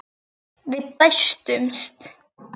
Við dæstum.